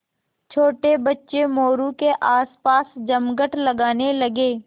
छोटे बच्चे मोरू के आसपास जमघट लगाने लगे